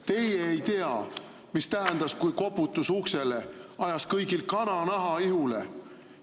Teie ei tea, mis tähendas, kui koputus uksele ajas kõigil kananaha ihule.